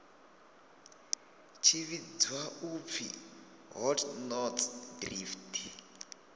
tshi vhidzwa u pfi hotnotsdrift